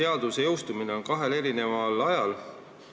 Seaduse jõustumine on ette nähtud kahel eri ajal.